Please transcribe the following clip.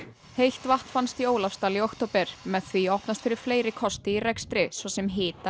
heitt vatn fannst í Ólafsdal í október með því opnast fyrir fleiri kosti í rekstri svo sem hita í